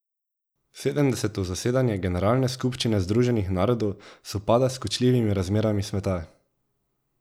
Sedemdeseto zasedanje generalne skupščine Združenih narodov sovpada s kočljivimi razmerami sveta.